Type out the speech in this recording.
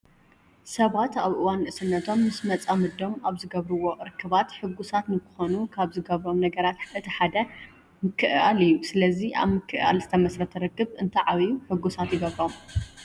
ሰባት ኣብ እዋን ንእስነቶም ምስ መፃምዶም ኣብ ዝገብርዎም ርክባት ሕጉሳት ንክኾኑ ካብ ዝገብሮም ነገራት እቲ ሓደ ምክእኣል እዩ። ስለዚ ኣብ ምክዕኣል ዝተመስረተ ርክብ እንትዓብዩ ሕጉሳት ይገብሮም።